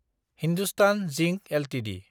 Hindustan zinc Ltd